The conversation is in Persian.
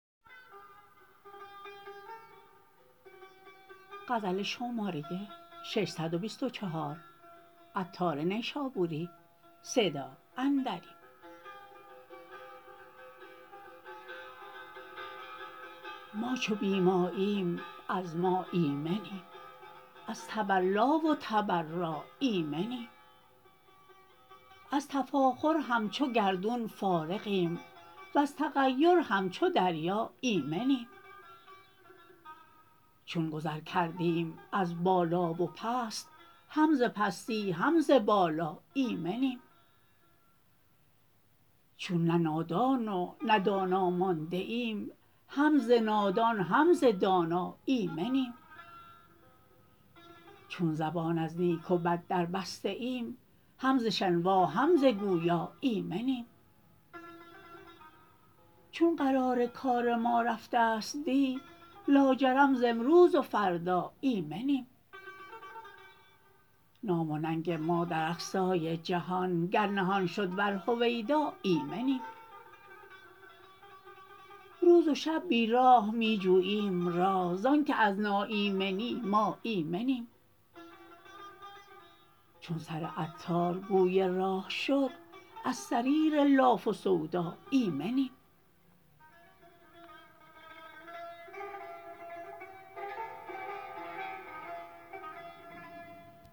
ما چو بی ماییم از ما ایمنیم از تولا و تبرا ایمنیم از تفاخر همچو گردون فارغیم وز تغیر همچو دریا ایمنیم چون گذر کردیم از بالا و پست هم ز پستی هم ز بالا ایمنیم چون نه نادان و نه دانا مانده ایم هم ز نادان هم ز دانا ایمنیم چون زبان از نیک و بد دربسته ایم هم ز شنوا هم ز گویا ایمنیم چون قرار کار ما رفتست دی لاجرم ز امروز و فردا ایمنیم نام و ننگ ما در اقصای جهان گر نهان شد ور هویدا ایمنیم روز و شب بی راه می جوییم راه زانکه از ناایمنی ما ایمنیم چون سر عطار گوی راه شد از سریر لاف و سودا ایمنیم